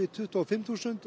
tuttugu og fimm þúsund